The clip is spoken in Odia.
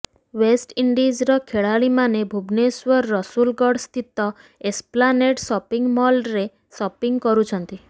େଓଷ୍ଟଇଣ୍ଡିଜର ଖେଳାଳିମାନେ ଭୁବନେଶ୍ୱର ରସୁଲଗଡ ସ୍ଥିତ ଏସପ୍ଲାନେଡ ସପିଂ ମଲରେ ସପିଂ କରିଛନ୍ତି